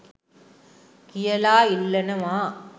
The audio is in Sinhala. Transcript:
කියලා ඉල්ලනවා